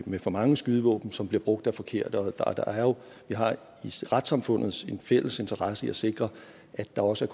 med for mange skydevåben som bliver brugt af de forkerte og vi har jo i retssamfundet en fælles interesse i at sikre at der også